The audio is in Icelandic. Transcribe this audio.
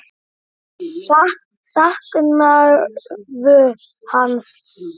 Saknarðu hans?